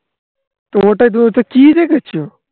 তোমারটায় তুমি তো কি দেখেছো?